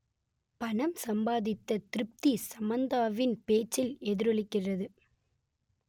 பணம் சம்பாதித்த திருப்தி சமந்தாவின் பேச்சில் எதிரொலிக்கிறது